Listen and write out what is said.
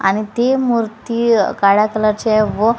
आणि ती मूर्ती अ काळ्या कलरची आहे व--